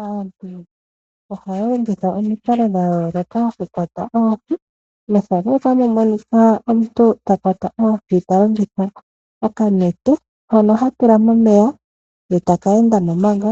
Aantu ohaya longitha omikalo dhayooloka okukwata oohi. Aantu yamwe oohaya kwata oohi taya longitha onete ndjono tatula momeya ye teke endamo manga